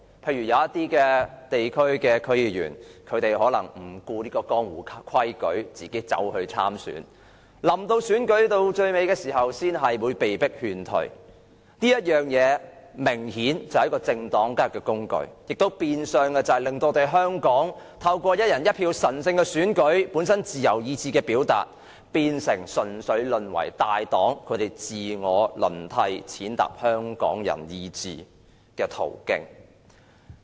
例如一些地區的區議員可能不顧江湖規矩，自行參選，到選舉後期才被勸退，被迫退選，這明顯是政黨交易的工具，亦變相令香港"一人一票"的神聖選舉、本身是自由意志的表達，淪為大黨自我輪替、踐踏香港人意志的途徑。